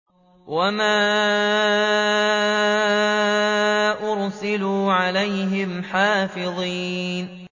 وَمَا أُرْسِلُوا عَلَيْهِمْ حَافِظِينَ